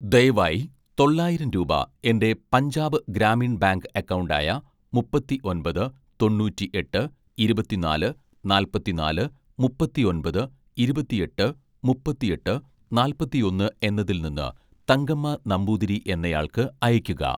ദയവായി തൊള്ളായിരം രൂപ എൻ്റെ പഞ്ചാബ് ഗ്രാമീൺ ബാങ്ക് അക്കൗണ്ട് ആയ മുപ്പത്തിഒന്‍പത് തൊണ്ണൂറ്റിഎട്ട് ഇരുപത്തിനാല് നാല്‍പത്തിനാല് മുപ്പത്തിഒന്‍പത് ഇരുപത്തിഎട്ട് മുപ്പത്തിഎട്ട് നാല്‍പത്തിയൊന്ന് എന്നതിൽ നിന്ന് തങ്കമ്മ നമ്പൂതിരി എന്നയാൾക്ക് അയക്കുക